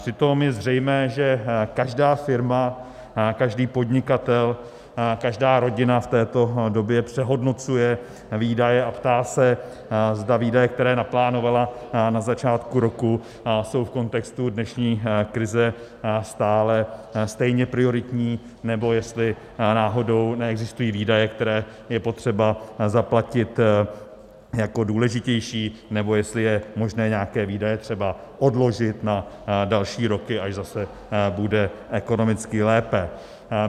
Přitom je zřejmé, že každá firma, každý podnikatel, každá rodina v této době přehodnocuje výdaje a ptá se, zda výdaje, které naplánovala na začátku roku, jsou v kontextu dnešní krize stále stejně prioritní, nebo jestli náhodou neexistují výdaje, které je potřeba zaplatit jako důležitější, nebo jestli je možné nějaké výdaje třeba odložit na další roky, až zase bude ekonomicky lépe.